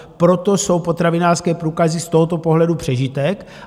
Proto jsou potravinářské průkazy z tohoto pohledu přežitek.